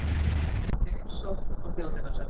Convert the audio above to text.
Mynd: Heimsókn á Þjóðminjasafnið.